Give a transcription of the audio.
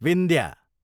Vindhya